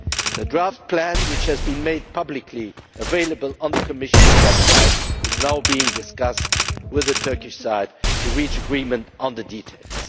The draft plan, which has been made publicly available on the Commission's website, is now being discussed with the Turkish side to reach agreement on the details.